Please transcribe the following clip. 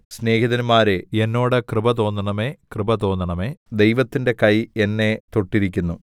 സ്നേഹിതന്മാരെ എന്നോട് കൃപ തോന്നണമേ കൃപ തോന്നണമേ ദൈവത്തിന്റെ കൈ എന്നെ തൊട്ടിരിക്കുന്നു